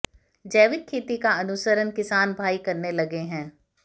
जैविक खेती का अनुसरण किसान भाई करने लगे हैं